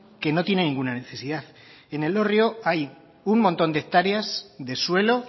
que no tiene ninguna necesidad en elorrio hay un montón de hectáreas de suelo